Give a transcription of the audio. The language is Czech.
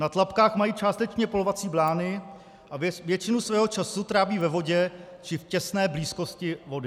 Na tlapkách mají částečně plovací blány a většinu svého času tráví ve vodě či v těsné blízkosti vody.